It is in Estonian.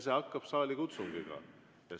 See algab saalikutsungiga.